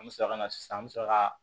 An bɛ sɔrɔ ka na sisan an bɛ sɔrɔ ka